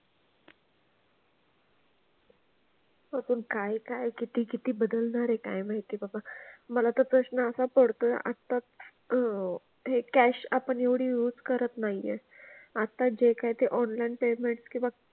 अजून काय काय किती किती बदलणार आहे काय माहिती बाबा. मला तर प्रश्न असा पडतोय आता अह हे cash आपण एवढी use करत नाही आहे. आता जे काय ते online payment किंवा,